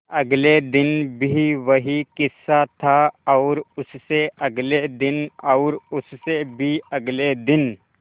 अगले दिन भी वही किस्सा था और उससे अगले दिन और उससे भी अगले दिन